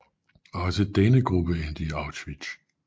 Også denne gruppe endte i Auschwitz